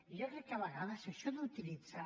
jo crec que a vegades això d’utilitzar